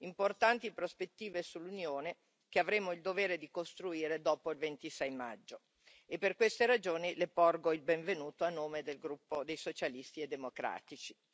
importanti prospettive sull'Unione che avremo il dovere di costruire dopo il 26 maggio e, per queste ragioni, Le porgo il benvenuto a nome del gruppo dei Socialisti e Democratici.